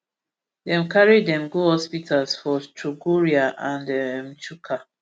dem carry dem go hospitals for chogoria and um chuka